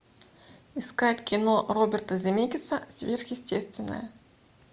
искать кино роберта земекиса сверхъестественное